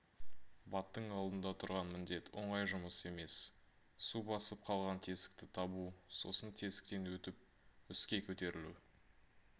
баттың алдында тұрған міндет оңай жұмыс емес су басып қалған тесікті табу сосын тесіктен өтіп үске көтерілу